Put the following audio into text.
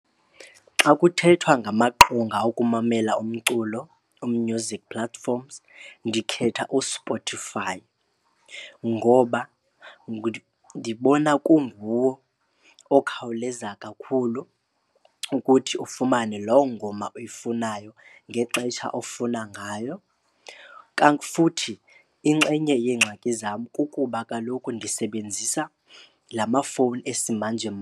Xa kuthethwa ngamaqonga okumamela umculo, u-music platforms, ndikhetha uSpotify ngoba ndibona kunguwo okhawuleza kakhulu ukuthi ufumane loo ngoma uyifunayo ngexetsha ofuna ngayo. Futhi inxenye yengxaki zam kukuba kaloku ndisebenzisa la mafowuni esimanje.